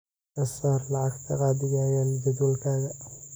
ka saar lacagta gaadhigayga jadwalkayga